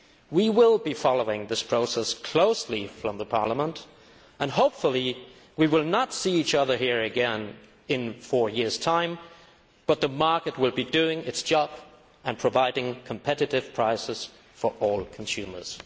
We will be following this process closely from Parliament, and hopefully we will not see each other here again in four years' time, as the market will be doing its job and providing competitive prices for all consumers.